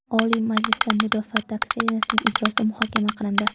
Oliy Majlisda Mudofaa doktrinasining ijrosi muhokama qilindi.